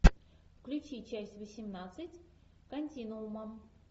включи часть восемнадцать континуума